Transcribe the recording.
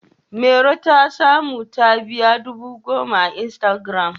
Mairo ta samu mabiya dubu goma a Instagiram.